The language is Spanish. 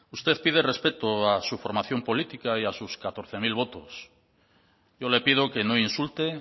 usted pide respeto a su formación política y a sus catorce mil votos yo le pido que no insulte